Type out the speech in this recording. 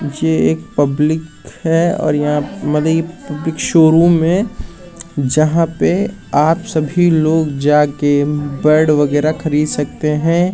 ये एक पब्लिक है और यहाँ पर मतलब इ शोरूम है जहाँ पर आप सभी लोग जा के बेड वैगरह खरीद सकते है।